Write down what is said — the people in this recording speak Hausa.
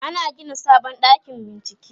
ana Gina sabon ɗakin bincike